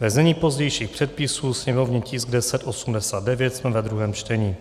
ve znění pozdějších předpisů, sněmovní tisk 1089, jsme ve druhém čtení.